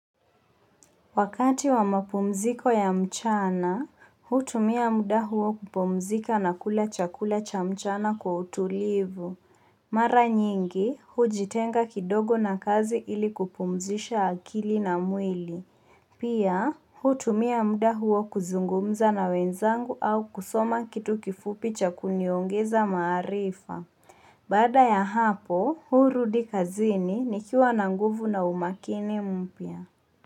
Wakati wa mapumziko ya mchana, hutumia muda huo kupumzika na kula chakula cha mchana kwa utulivu. Mara nyingi, hujitenga kidogo na kazi ili kupumzisha akili na mwili. Pia, hutumia muda huo kuzungumza na wenzangu au kusoma kitu kifupi cha kuniongeza maarifa. Baada ya hapo, hurudi kazini nikiwa na nguvu na umakini mpya.